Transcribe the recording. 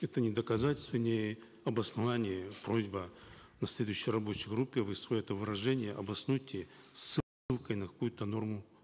это не доказательство не обоснование просьба на следующей рабочей группе вы свое это выражение обоснуйте на какую то норму